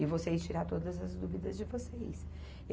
e vocês tirar todas as dúvidas de vocês.